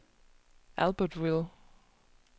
Albertville